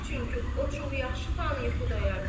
Çünki o çox yaxşı tanıyır Xudayar bəyi.